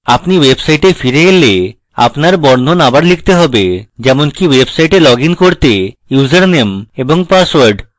আপনি website ফিরে এলে এলে আপনার বর্ণন আবার লিখতে have যেমনকি website লগইন করতে ইউসারনেম এবং পাসওয়ার্ড